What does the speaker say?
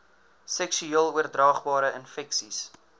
seksueel oordraagbare infeksies